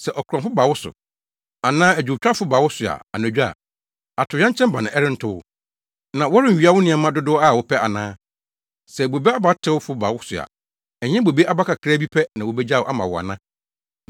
“Sɛ akorɔmfo ba wo so, anaa adwowtwafo ba wo so anadwo a, atoyerɛnkyɛm bɛn na ɛrento wo? Na wɔrennwia wo nneɛma dodow a wɔpɛ ana? Sɛ bobe abatewfo ba wo so a, ɛnyɛ bobe aba kakraa bi pɛ na wobegyaw ama wo ana?